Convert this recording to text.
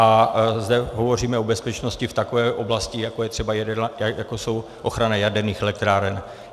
A zde hovoříme o bezpečnosti v takové oblasti, jako jsou ochrany jaderných elektráren.